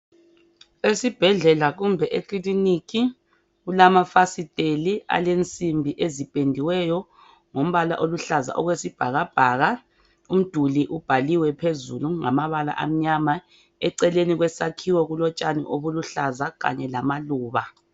Esibhedlela kumbe ekiliniki kulamafasitela alensimbi ezipendiweyo ngombala okwesibhakabhaka . Umduli ubhaliwe phezulu ngamabala amnyama. Eceleni kwesakhiwo kulotshani obuluhlaza kanye lamaluba.